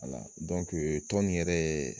wala dɔnkee tɔn in yɛrɛɛ